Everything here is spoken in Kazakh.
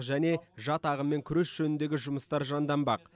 және жат ағыммен күрес жөніндегі жұмыстар жанданбақ